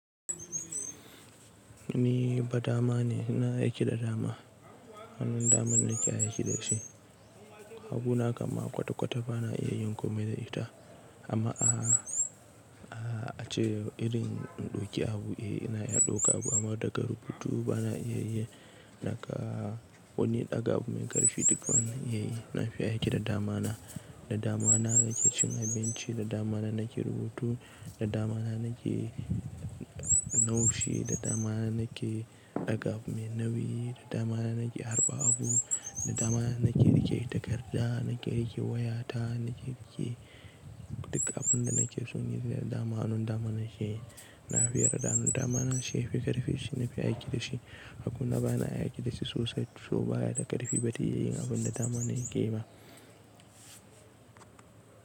Ni ba dama ne, ina aiƙi da dama. Hannun dama na ke aiki da shi. Hagu na kam ma kwata-kwata ba na iya yin komai da ita amma a, a cewa irin in ɗauki abu, eh na iya ɗauka abu amma daga rubutu ba na iya yi. Naka wani ɗaga abu mai ƙarfi duk ba na iya yi. Na fi aiƙi da dama na, da dama na nake cin abinci, da dama na nake rubutu, da dama na nake naushi, da dama na nake ɗaga abu mai nauyi, da dama na nake harba abu, da dama na nake riƙe takarda, nake riƙe waya ta, nake riƙe duk abun da nake son yi da dama. Hannun dama na ke yi. Na fi yarda hannun dama na shi ya fi ƙarfi, shi na fi aiƙi da shi. Hagu na ba na iya aiki da shi sosai saboda baya da ƙarfi, ba tayi yin abun da dama na yake yi ba.